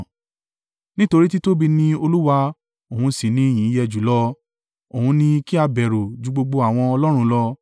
Nítorí títóbi ni Olúwa òun sì ni ìyìn yẹ jùlọ; òun ni kí a bẹ̀rù ju gbogbo àwọn Ọlọ́run lọ.